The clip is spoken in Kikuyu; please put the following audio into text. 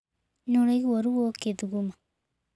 Nĩ ũraigua ruo ũkĩthuguma.